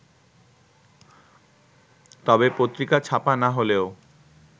তবে পত্রিকা ছাপা না হলেও